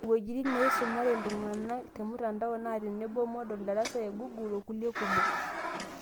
Iwuejitin neisumare iltung'anak temtandao, naa tenebo, moodle, darasa egoogle okulie kumok.